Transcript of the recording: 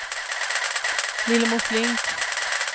Lillemor Flink